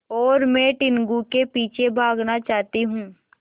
और मैं टीनगु के पीछे भागना चाहती हूँ